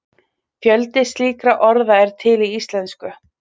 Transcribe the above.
fjöldi slíkra orða er til í íslensku